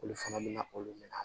Olu fana bɛna olu mina